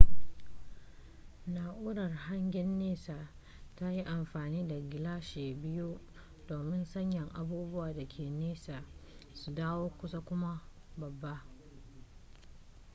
na'urar hangen nesa tayi amfani da gilashi biyu domin sanya abubuwa dake nesa su dawo kusa kuma babba